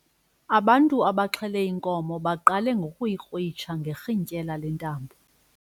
Ubantu abaxhele inkomo baqale ngokuyikrwitsha ngerhintyela lentambo.